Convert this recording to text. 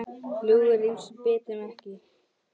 Flugur rykmýs bíta ekki.